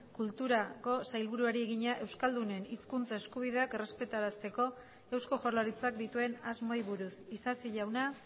kulturako sailburuari egina euskaldunen hizkuntza eskubideak errespetarazteko eusko jaurlaritzak dituen asmoei buruz isasi jauna